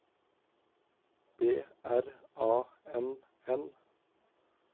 B R A N N